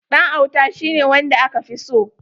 Ɗan auta shi ne wanda aka fi so.